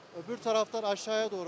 Öbür tarafdan aşağıya doğru akıyor.